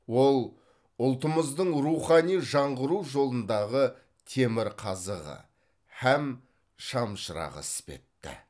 ол ұлтымыздың рухани жаңғыру жолындағы темірқазығы һәм шамшырағы іспетті